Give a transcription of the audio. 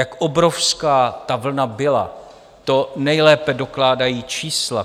Jak obrovská ta vlna byla, to nejlépe dokládají čísla.